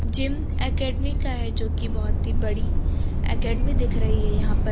Gym academy का है जोकि बहुत ही बड़ी एकेडमी दिख रही है यहां पर।